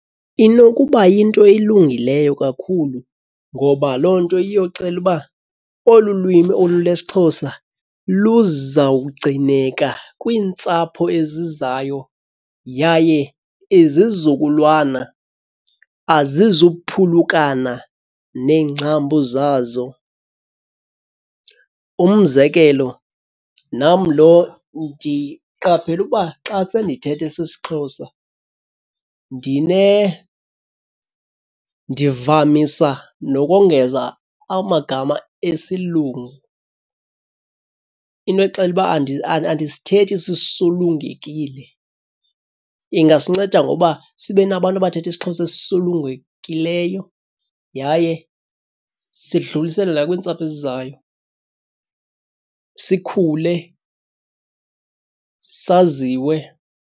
Inokuba yinto elungileyo kakhulu ngoba loo nto iyoxela uba olu lwimi olu lwesiXhosa luzawugcineka kwiintsapho ezizayo yaye izizukulwana azizuphulukana neengcambu zazo. Umzekelo, nam lo ndiqaphela ukuba xa sendithetha esi siXhosa ndivamisa nokongeza amagama esilungu into exela uba andisithethi sisulungekile. Ingasinceda ngokuba sibe nabantu abathetha isiXhosa esisulungekileyo yaye sidluliselwe nakwintsapho ezizayo sikhule saziwe.